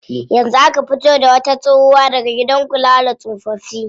Yanzu aka fito da wata tsohuwa daga gidan kula da tsofaffi.